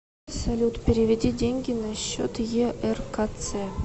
салют переведи деньги на счет еркц